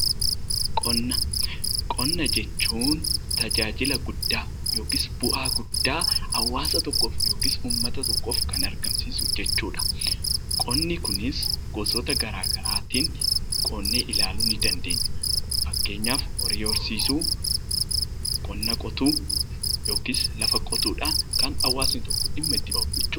Qonna Qonna jechuun tajaajila guddaa yookiis bu'aa guddaa hawaasa tokkoof yookaan uummata tokkoof argamsiisu jechuudha. Qonni kunis gosoota garaagaraatiin qonni ilaaluu ni dandeenya. Fakkeenyaaf horii horsiisuu, qonna qotuu, yookiis lafa qotuudhaan kan hawaasni dhimma itti bahu.